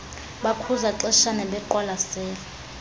bakhuza xeshanye beqwalasele